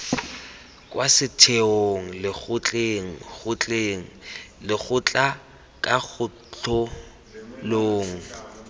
kwa setheong lekgotleng kgotleng lekgotlakatlholong